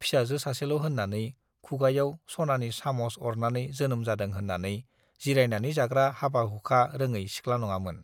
फिसाजो सासेल' होन्नानै, खुगायाव सनानि साम'स अरनानै जोनोम जादों होन्नानै जिरायनानै जाग्रा हाबा-हुखा रोङै सिख्ला नङामोन।